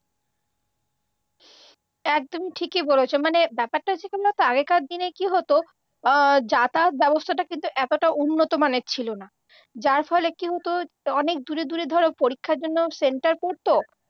একদম ঠিকই বলেছ, মানে ব্যাপারটা হচ্ছে কেমন বলত আগেকার দিনে কি হত, যাতায়াত ব্যবস্থাটা এতটা উন্নত মানের ছিলনা যার ফলে কি হত অনেক দূরে দূরে ধরো পরীক্ষার জন্য সেন্টার পড়ত